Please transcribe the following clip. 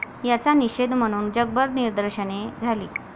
याचा निषेध म्हणून जगभर निदर्शने झाली.